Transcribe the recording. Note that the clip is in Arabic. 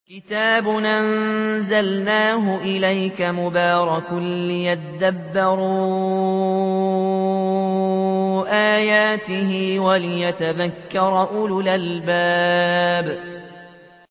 كِتَابٌ أَنزَلْنَاهُ إِلَيْكَ مُبَارَكٌ لِّيَدَّبَّرُوا آيَاتِهِ وَلِيَتَذَكَّرَ أُولُو الْأَلْبَابِ